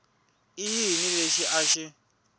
i yini lexi a xi